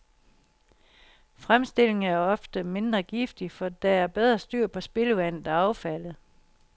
Fremstillingen er ofte mindre giftig, for der er bedre styr på spildevandet og affaldet.